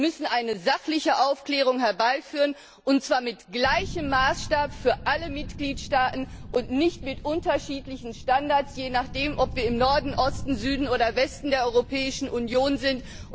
Wir müssen eine sachliche Aufklärung herbeiführen, und zwar mit gleichem Maßstab für alle Mitgliedstaaten und nicht mit unterschiedlichen Standards, je nachdem, ob wir im Norden, Osten, Süden oder Westen der Europäischen Union sind.